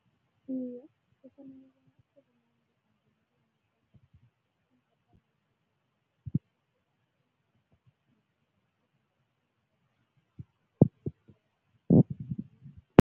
Iye,